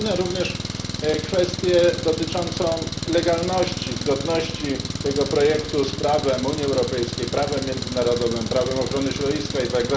Pominę również kwestię dotyczącą legalności i zgodności tego projektu z prawem Unii Europejskiej, prawem międzynarodowym, prawem ochrony środowiska itd.